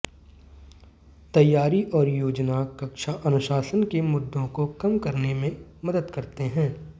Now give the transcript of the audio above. तैयारी और योजना कक्षा अनुशासन के मुद्दों को कम करने में मदद करते हैं